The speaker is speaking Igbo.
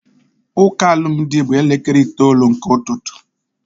Ụka alụmdi bụ na elekere itoolu nke ụtụtụ